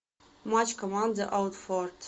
матч команды уотфорд